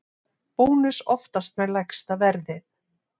Bónus oftast með lægsta verðið